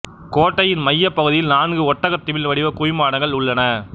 கோட்டையின் மைய பகுதியில் நான்கு ஒட்டகத் திமில் வடிவ குவிமாடங்கள் உள்ளன